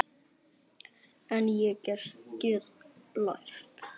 En ég get lært.